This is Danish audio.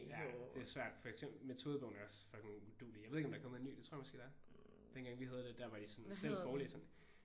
Ja det er svært. For eksempel metodebogen er også fucking uduelig. Jeg ved ikke om der er kommet en ny. Det tror jeg måske der er. Dengang vi havde det der var det sådan selv forelæseren